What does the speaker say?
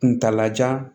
Kuntala jan